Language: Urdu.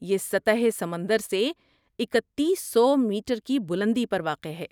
یہ سطح سمندر سے اکتیس سو میٹر کی بلندی پر واقع ہے